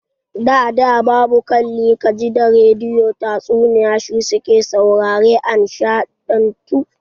Da da babu kalli ka ji da rediyo, tatsuniya shi su ke saurare a nishaɗantu.